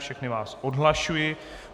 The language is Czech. Všechny vás odhlašuji.